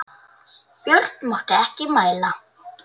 Björn mátti ekki mæla.